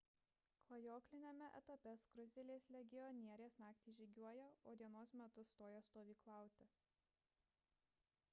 klajokliniame etape skruzdėlės legionierės naktį žygiuoja o dienos metu stoja stovyklauti